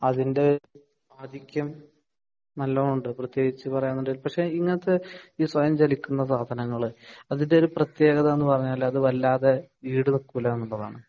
അതിൻ്റെ ആതിഥ്യം നല്ലോണം ഉണ്ട് പ്രത്യേകിച്ച് പറയാണെങ്കി പക്ഷെ ഇങ്ങനത്തെ ഈ സ്വയം ചലിക്കുന്ന സാധനങ്ങൾ അതിൻ്റെ ഒരു പ്രത്യേകത എന്ന് പറഞ്ഞാൽ അത് വല്ലാതെ ഈട് നിൽക്കില്ല എന്നുള്ളതാണ്